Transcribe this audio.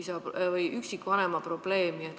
See puudutab üksikvanema probleemi.